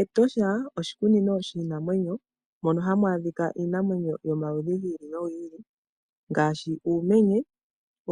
Etosha oshikunino shiinamwenyo mono hamu adhika iinamwenyo yomaludhi gi ili nogi ili ngaashi uumenye,